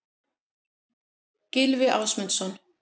Gylfi Ásmundsson.